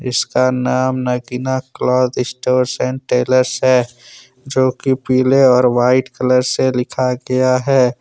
इसका नाम Nagina cloth stores and tailors है जोकि पीले और वाइट कलर से लिखा गया है।